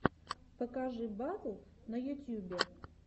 покажи батл в ютьюбе